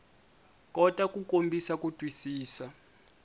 kota ku kombisa ku twisisa